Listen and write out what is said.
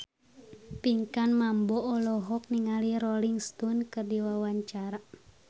Pinkan Mambo olohok ningali Rolling Stone keur diwawancara